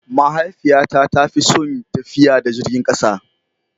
Mahaifiyata ta fi son tafiya da jirgin kasa.